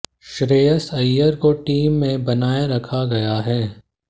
श्रेयस अय्यर को टीम में बनाए रखा गया है